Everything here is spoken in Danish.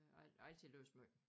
Har al har altid læst måj